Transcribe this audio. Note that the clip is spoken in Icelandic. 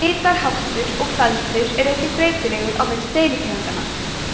litarháttur og feldur er einnig breytilegur á milli deilitegundanna